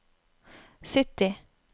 sytti